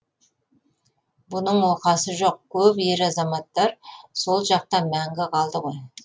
бұның оқасы жоқ көп ер азаматтар сол жақта мәңгі қалды ғой